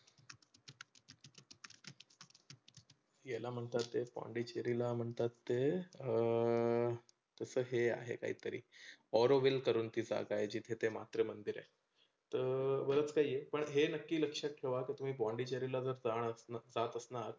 याला म्हणतात ते पोंडेचेरीला म्हणतात ते अं ते हे आहे काहीतरी. ओरोवील म्हणून ती जागा आहे जीथे ते मात्रे मंदीर आहे. तर बरंच काही पण हे नक्की लक्षात ठेवा जर तुम्ही पोंडेचेरीला जाणार, जात असणार